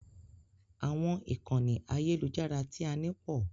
Àwọn ìkànnì àyẹ́lujára tí a ní pọ̀.